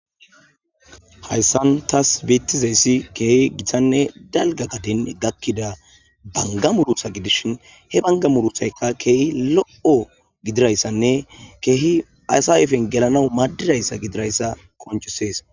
hayssan taas beettizeyssi keehi githanne dalga gadin gakkida banga murutha gidishin he bangamuruthayka keehi lo7o gidirayssanne keehi aysaefen gelana maaddirayssa gidirayssa qonccisees.